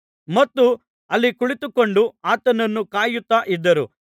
ಮತ್ತು ಅಲ್ಲಿ ಕುಳಿತುಕೊಂಡು ಆತನನ್ನು ಕಾಯುತ್ತಾ ಇದ್ದರು